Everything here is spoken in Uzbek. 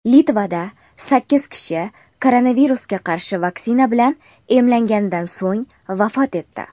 Litvada sakkiz kishi koronavirusga qarshi vaksina bilan emlanganidan so‘ng vafot etdi.